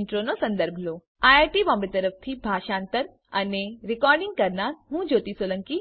Intro નો સંદર્ભ લો આઈઆઈટી બોમ્બે તરફથી ભાષાંતર કરનાર હું જ્યોતી સોલંકી વિદાય લઉં છું